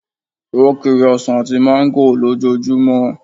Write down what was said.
O kiri ọsàn àti mango ló jo jumo